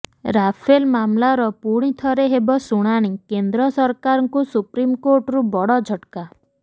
Rafale ମାମଲାର ପୁଣି ଥରେ ହେବ ଶୁଣାଣି କେନ୍ଦ୍ର ସରକାରଙ୍କୁ ସୁପ୍ରିମକୋର୍ଟରୁ ବଡ ଝଟକା